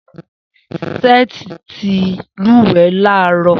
Seth ti n lúwẹ̀ẹ́ láàárọ̀